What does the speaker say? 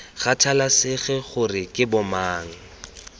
kgathalesege gore ke bo mang